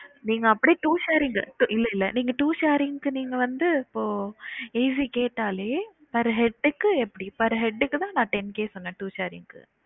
நீங்க அப்டியே two sharing இல்ல இல்ல நீங்க two sharing க்கு நீங்க வந்து இப்போ AC கேட்டாலே per head க்கு எப்படி per head க்குதா நா ten K சொனேன் two sharing க்கு